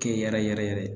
Kɛ yɛrɛ yɛrɛ yɛrɛ